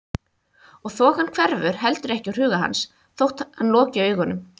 Og þokan hverfur heldur ekki úr huga hans þótt hann loki augunum.